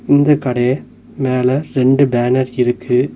இந்த கடைய மேல ரெண்டு பேனர் இருக்கு.